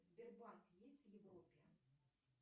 сбербанк есть в европе